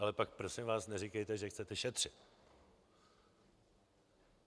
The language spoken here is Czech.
Ale pak prosím vás neříkejte, že chcete šetřit.